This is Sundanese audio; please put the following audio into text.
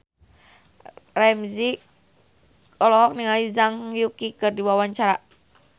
Ramzy olohok ningali Zhang Yuqi keur diwawancara